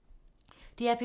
DR P3